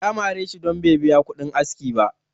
ya mare shi don Bai biya kudin aski ba